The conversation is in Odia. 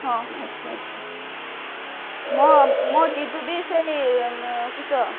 ମୋ ଜିଜୁ ବି ସେଇ ସେଇ